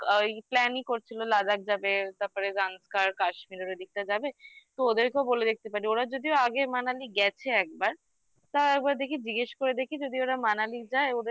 ওই plan ই করছিল Ladakh যাবে তারপরে Kashmir দিকটা যাবে তো ওদেরকেও বলে দেখতে পারি ওরা যদিও আগে Manali গেছে একবার তাও একবার দেখি জিজ্ঞেস করে দেখি যদি ওরা Manali যায়